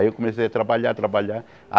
Aí eu comecei a trabalhar, trabalhar.